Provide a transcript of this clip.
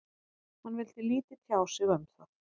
Hann vildi lítið tjá sig um það.